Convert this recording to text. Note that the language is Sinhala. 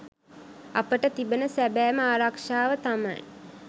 අපට තිබෙන සැබෑම ආරක්ෂාව තමයි